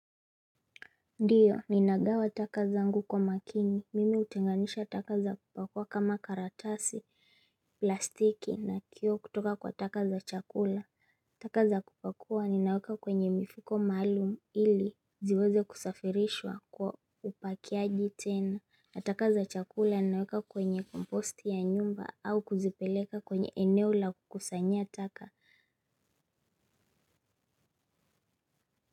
Ndiyo, ninagawa taka zangu kwa makini, mimi hutenganisha taka za kupakua kama karatasi, plastiki na kio kutoka kwa taka za chakula. Taka za kupakua ninaweka kwenye mifiko maalumu ili ziweze kusafirishwa kwa upakiaji tena. Na taka za chakula ni naweka kwenye komposti ya nyumba au kuzipeleka kwenye eneo la kukusanyia taka.